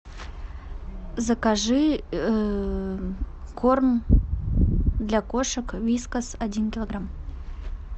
закажи корм для кошек вискас один килограмм